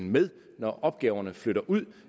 med når opgaverne flytter ud